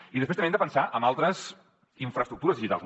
i després també hem de pensar en altres infraestructures digitals